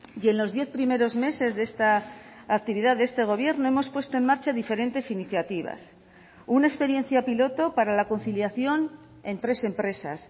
y en los diez primeros meses de esta actividad de este gobierno hemos puesto en marcha diferentes iniciativas una experiencia piloto para la conciliación en tres empresas